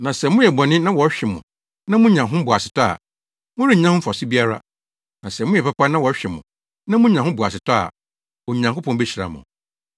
Na sɛ moyɛ bɔne na wɔhwe mo na munya ho boasetɔ a, morennya ho mfaso biara. Na sɛ moyɛ papa na wɔhwe mo na munya ho boasetɔ a, Onyankopɔn behyira mo.